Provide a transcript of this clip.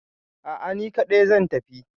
A'a, ni kaɗai zan tafi.